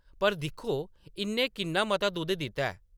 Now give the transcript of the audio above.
पर दिक्खो, इʼन्नै किन्ना मता दुद्ध दित्ता ऐ !”